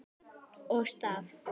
Og staf.